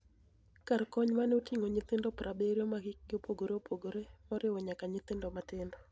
Kar koniy mare otinig'o niyithinido 70 ma hikgi opogore opogore, moriwo niyaka niyithinido matinido.